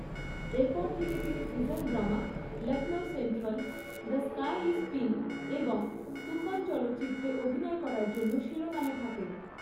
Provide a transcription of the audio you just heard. এরপর থেকে তিনি prison drama ‘Lucknow central’, ‘the sky is pink’ এবং ‘তুফান’ চলচ্চিত্রে অভিনয় করার জন্য শিরোনামে থাকেন।